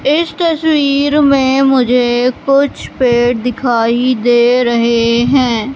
इस तस्वीर में मुझे कुछ पेड़ दिखाई दे रहे हैं।